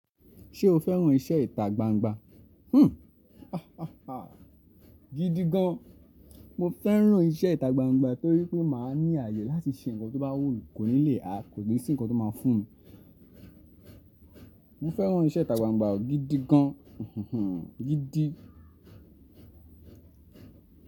Ṣé o fẹ́ràn iṣẹ́ ìtagbangba? Hmm, gidi gan. Mo fẹ́ràn iṣẹ́ ìtagbangba torí pé màá ní àayè láti ṣe ǹkan tó bá wù mí, kò ní lè, a kò ní sí ǹkan tó máa fún mi. Mo fẹ́ràn iṣẹ́ ìtagbangba gidi gan, gidi.